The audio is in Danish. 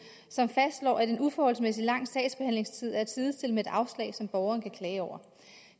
som fastslår at en uforholdsmæssig lang sagsbehandlingstid er at sidestille med et afslag som borgeren kan klage over